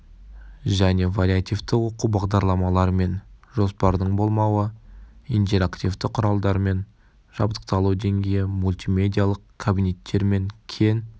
және вариативті оқу бағдарламалары мен жоспардың болмауы интерактивті құралдармен жабдықталу деңгейі мультимедиалық кабинеттер мен кең